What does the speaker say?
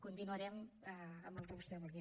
continuarem amb el que vostè vulgui